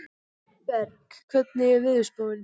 Berg, hvernig er veðurspáin?